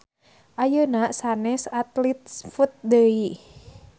Ayeuna sanes Athlete's foot deui